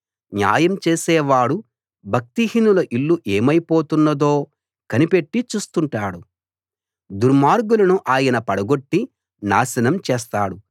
న్యాయం చేసే వాడు భక్తిహీనుల ఇల్లు ఏమైపోతున్నదో కనిపెట్టి చూస్తుంటాడు దుర్మార్గులను ఆయన పడగొట్టి నాశనం చేస్తాడు